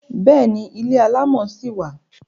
Bẹ́ẹ̀ni, ilé alámọ̀ ṣì wà.